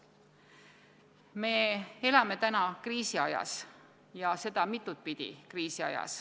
Me elame praegu kriisiajas, ja seda õige mitut pidi.